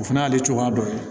O fana y'ale cogoya dɔ ye